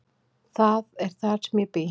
Það er þar sem ég bý.